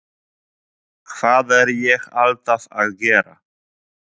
Hvað er ég alltaf að gera?